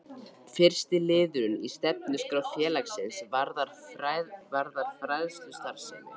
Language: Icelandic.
Fyrsti liðurinn í stefnuskrá félagsins varðar fræðslustarfsemi.